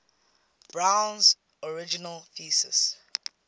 brown's original thesis